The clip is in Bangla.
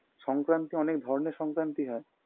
সংক্রান্তি অনেক ধরনের সংক্রান্তি হয়